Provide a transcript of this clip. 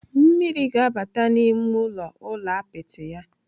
Mmiri ga-abata n'ime ụlọ ụlọ apịtị ya.